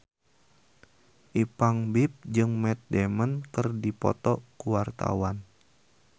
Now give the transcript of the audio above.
Ipank BIP jeung Matt Damon keur dipoto ku wartawan